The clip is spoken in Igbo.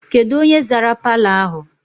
Kedụ onye zara palọ ahụ?